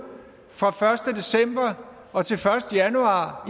fra første december og til første januar